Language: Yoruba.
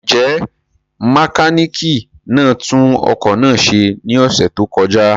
Njẹ mekaniki na tun ọkọ naa ṣe ni ọsẹ to kọja?